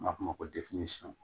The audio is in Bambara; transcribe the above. An b'a f'o ma ko